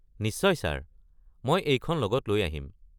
নিশ্চয় ছাৰ। মই এইখন লগত লৈ আহিম।